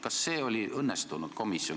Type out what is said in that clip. Kas see oli õnnestunud istung?